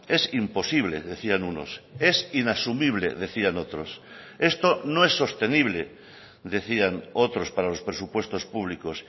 es imposible decían unos es inasumible decían otros esto no es sostenible decían otros para los presupuestos públicos